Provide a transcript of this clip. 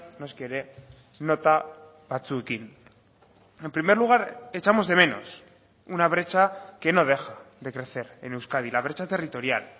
noski ere nota batzuekin en primer lugar echamos de menos una brecha que no deja de crecer en euskadi la brecha territorial